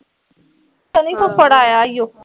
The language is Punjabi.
ਸੰਨੀ ਫੁੱਫੜ ਆਇਆ ਉਹ